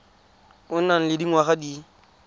o nang le dingwaga di